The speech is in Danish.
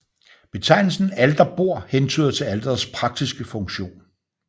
Betegnelsen alterbord hentyder til alterets praktiske funktion